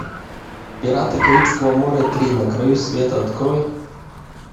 пираты карибского моря три на краю света открой